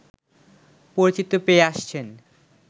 পরিচিতি পেয়ে আসছেন